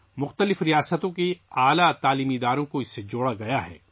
مختلف ریاستوں کے اعلیٰ تعلیمی اداروں کو اس سے جوڑا گیا ہے